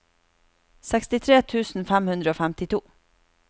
sekstitre tusen fem hundre og femtito